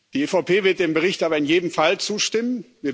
Die EVP wird dem Bericht aber in jedem Fall zustimmen.